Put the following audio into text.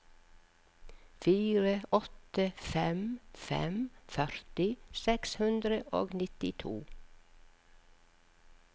fire åtte fem fem førti seks hundre og nittito